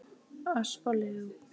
Ösp og Leó.